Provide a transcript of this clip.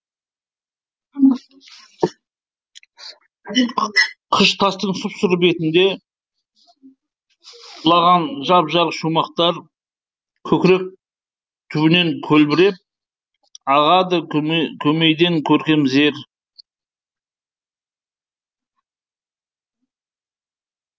қыш тастың сұп сұры бетінде құлағанжап жарық шумақтар көкірек түбінен көлбіреп ағады көмейденкөркем зер